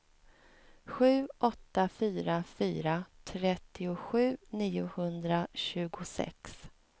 sju åtta fyra fyra trettiosju niohundratjugosex